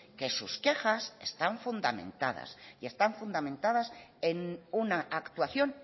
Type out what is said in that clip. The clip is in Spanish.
que sus quejas están fundamentadas y están fundamentadas en una actuación